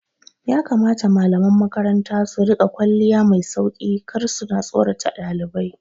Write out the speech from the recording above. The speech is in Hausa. Ya kamata malaman makaranta su riƙa kwalliya mai sauki kar suta tsorata ɗalibai